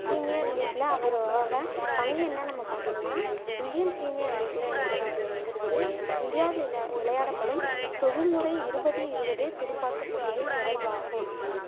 premier league ல அவரோட பங்கு என்னன்னு நம்ம பாத்தோம்னா இந்தியன் premier league இந்தியாவில் விளையாடப்படும் தொழில்முறை இருபது இருபது துடுப்பாட்ட போட்டியில் தொடர்பாகும்